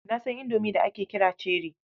Na san Indomie da ake kira cherrie.